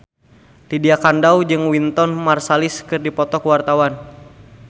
Lydia Kandou jeung Wynton Marsalis keur dipoto ku wartawan